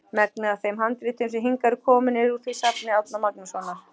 Megnið af þeim handritum sem hingað eru komin eru því úr safni Árna Magnússonar.